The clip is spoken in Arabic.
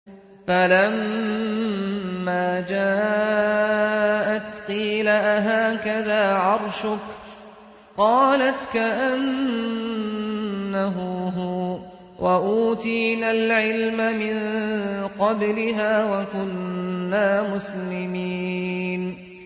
فَلَمَّا جَاءَتْ قِيلَ أَهَٰكَذَا عَرْشُكِ ۖ قَالَتْ كَأَنَّهُ هُوَ ۚ وَأُوتِينَا الْعِلْمَ مِن قَبْلِهَا وَكُنَّا مُسْلِمِينَ